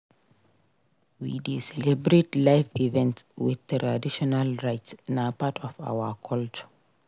We dey celebrate life events with traditional rites; na part of our culture.